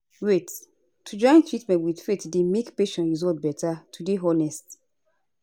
wait - to join treatment with faith dey make patient result beta to dey honest